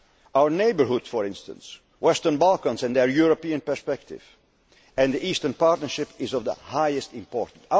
Quartet. Our neighbourhood, for instance, the Western Balkans and their European perspective, and the Eastern Partnership, are of the highest importance.